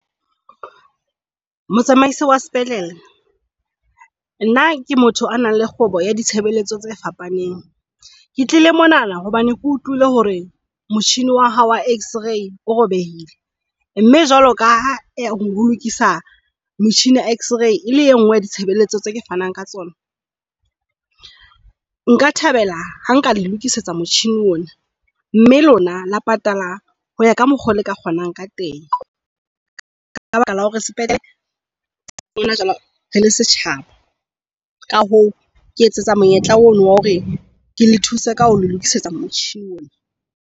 Motsamaisi wa sepetlele nna ke motho a nang le kgwebo ya ditshebeletso tse fapaneng. Ke tlile mona hobane ke utlwile hore motjhini wa hao wa x-ray o robehile. Mme jwalo ka ha ho lokisa machine ya x-ray e le engwe ya ditshebeletso tse fanang ka tsona. Nka thabela ha nka le lokisetsa motjhini ona, mme lona la patala ho ya ka mokgwa oo le ka kgonang ka teng ka baka la hore sepetlele hona jwale re le setjhaba. Ka hoo ke etsetsa monyetla ona wa hore ke le thuse ka ho lokisetsa motjhini.